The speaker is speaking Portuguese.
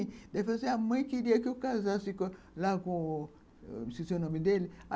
Aí falou assim, a mãe queria que eu casasse lá com... Eu esqueci o nome dele.